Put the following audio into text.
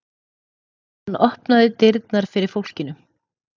Hann opnaði dyrnar fyrir fólkinu.